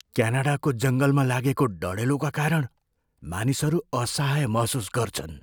क्यानाडाको जङ्गलमा लागेको डढेलोका कारण मानिसहरू असहाय महसुस गर्छन्।